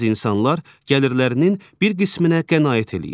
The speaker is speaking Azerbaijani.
Bəzi insanlar gəlirlərinin bir qisminə qənaət eləyir.